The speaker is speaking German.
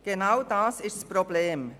Genau dies ist das Problem.